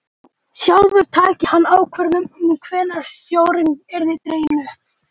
Sjálfur tæki hann ákvörðun um hvenær stjórinn yrði dreginn upp.